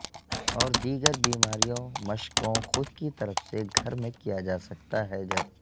اور دیگر بیماریوں مشقوں خود کی طرف سے گھر میں کیا جا سکتا ہے جب